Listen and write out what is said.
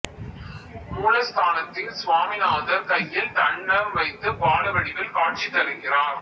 மூலஸ்தானத்தில் சுவாமிநாதர் கையில் தண்டம் வைத்து பால வடிவில் காட்சி தருகிறார்